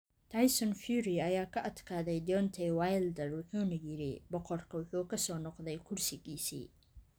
Tyson Fury ayaa ka adkaaday Deontay Wilder wuxuuna yidhi "Boqorku wuxuu ku soo noqday kursigiisii"